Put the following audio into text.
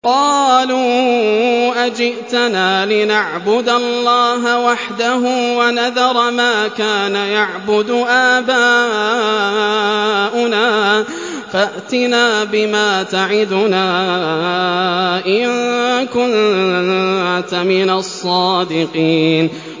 قَالُوا أَجِئْتَنَا لِنَعْبُدَ اللَّهَ وَحْدَهُ وَنَذَرَ مَا كَانَ يَعْبُدُ آبَاؤُنَا ۖ فَأْتِنَا بِمَا تَعِدُنَا إِن كُنتَ مِنَ الصَّادِقِينَ